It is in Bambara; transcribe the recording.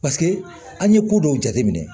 Paseke an ye ko dɔw jateminɛ